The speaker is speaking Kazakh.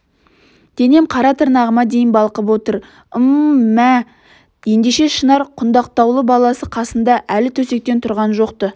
денем қара тырнағыма дейін балқып отыр ым-мм мә ендеше шынар құндақтаулы баласы қасында әлі төсектен тұрған жоқ-ты